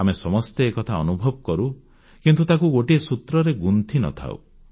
ଆମେ ସମସ୍ତେ ଏକଥା ଅନୁଭବ କରୁ କିନ୍ତୁ ତାକୁ ଗୋଟିଏ ସୂତ୍ରରେ ଗୁନ୍ଥିନଥାଉ